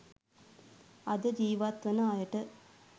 අද ජීවත් වන අයට